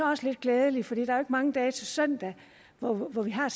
også lidt glædeligt for der er jo mange dage til søndag hvor hvor vi har